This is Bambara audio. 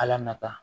Ala nata